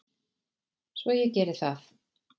Svo ég geri það.